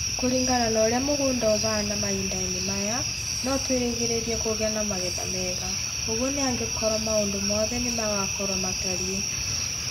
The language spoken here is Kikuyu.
Kũringana na ũrĩa mũgũnda ũhaana mahinda-inĩ maya, no twĩrĩgĩrĩre kũgĩa na magetha mega. Ũguo nĩ angĩkorũo maũndũ mothe nĩ magakorũo matariĩ.